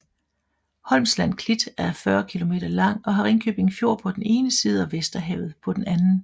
Holmsland Klit er 40 km lang og har Ringkøbing Fjord på den ene side og Vesterhavet på den anden